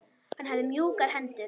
Hann hafði mjúkar hendur.